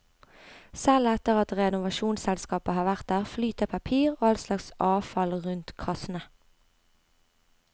Selv etter at renovasjonsselskapet har vært der, flyter papir og all slags avfall rundt kassene.